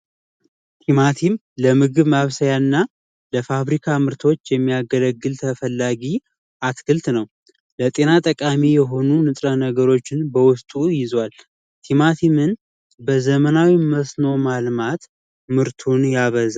ቲማቲም ለምግብ ማብሰያ እና ለፋብሪካ ምርቶች የሚያገለግል ተፈላጊ አትክልት ነው ለጤና ጠቃሚ የሆኑ ንጥረ ነገሮችን በውስጡ ይይዛል። ቲማቲምን በዘመናዊ መስኖ ማልማት ምርቱን ያበዛል።